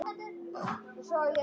sjálfur á krossi dó.